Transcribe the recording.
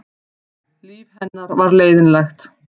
Líf hennar var leiðinlegt.